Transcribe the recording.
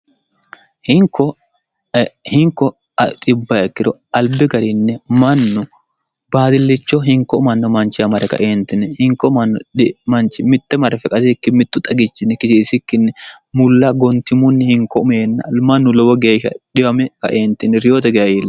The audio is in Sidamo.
hinko bkkiro albi garinni mannu baadillicho hinko manno manchi amare kaeentine hinko mnodmanchi mitte mare fiqasikki mittu xagichinni kisiisikkinni mulla gontimunni hinko umeenna mannu lowo geeshsha dhiwame kaeentini riyote gaye iillo